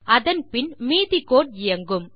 அதன் பின் மீதி கோடு இயங்கும்